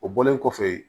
O bɔlen kɔfɛ